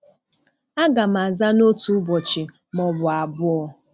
A gam aza n'otu ụbọchị ma ọ bụ abụọ.